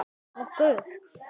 Hættum að láta ræna okkur.